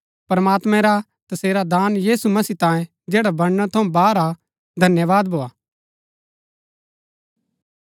प्रमात्मां रा तसेरै दान यीशु मसीह तांयें जैडा वर्णन थऊँ बाहर हा धन्यवाद भोआ